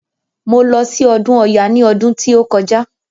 Mo lọ sí ọdún ọya ní ọdún tí ó kọjá.